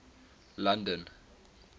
london